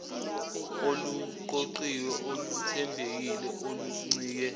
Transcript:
oluqoqiwe oluthembekile oluncike